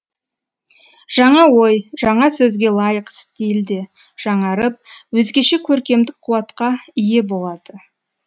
жаңа ой жаңа сөзге лайық стиль де жаңарып өзгеше көркемдік қуатқа ие болады